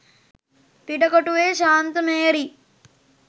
පිටකොටුවේ ශාන්ත මේරි,